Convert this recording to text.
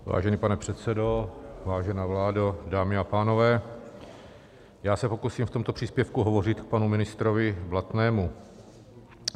Vážený pane předsedo, vážená vládo, dámy a pánové, já se pokusím v tomto příspěvku hovořit k panu ministrovi Blatnému.